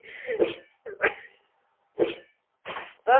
દ